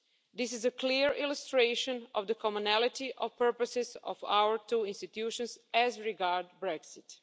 This is a clear illustration of the commonality of purposes of our two institutions as regards Brexit.